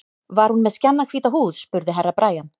Var hún með skjannahvíta húð, spurði Herra Brian.